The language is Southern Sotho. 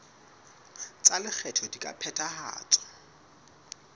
tsa lekgetho di ka phethahatswa